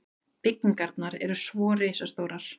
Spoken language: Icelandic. Byggingarnar eru svo risastórar.